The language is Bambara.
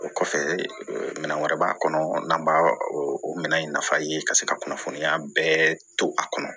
O kɔfɛ minɛn wɛrɛ b'a kɔnɔ n'an b'a o minɛ in nafa ye ka se ka kunnafoniya bɛɛ to a kɔnɔ